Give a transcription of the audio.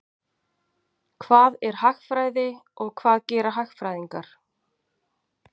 Hvað er hagfræði og hvað gera hagfræðingar?